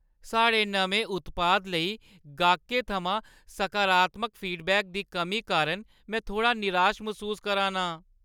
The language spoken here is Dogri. साढ़े नमें उत्पाद लेई गाह्कें थमां सकारात्मक फीडबैक दी कमी कारण में थोह्ड़ा निराश मसूस करा नां।